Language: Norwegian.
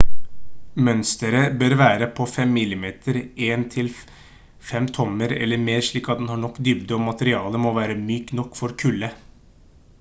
mønsteret bør være på 5 mm 1/5 tommer eller mer slik at det har nok dybde og materialet må være mykt nok for kulde